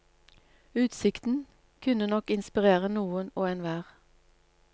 Utsikten kunne nok inspirere noen og enhver.